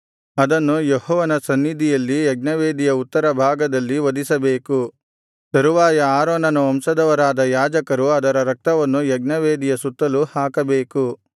ಅದನ್ನು ಯೆಹೋವನ ಸನ್ನಿಧಿಯಲ್ಲಿ ಯಜ್ಞವೇದಿಯ ಉತ್ತರ ಭಾಗದಲ್ಲಿ ವಧಿಸಬೇಕು ತರುವಾಯ ಆರೋನನ ವಂಶದವರಾದ ಯಾಜಕರು ಅದರ ರಕ್ತವನ್ನು ಯಜ್ಞವೇದಿಯ ಸುತ್ತಲೂ ಹಾಕಬೇಕು